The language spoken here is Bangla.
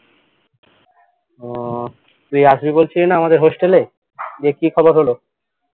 উহ আসবি বলছিলি না আমাদের hostel এ দে কি খবর হলো